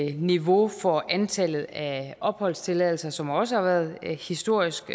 et niveau for antallet af opholdstilladelser som også har været historisk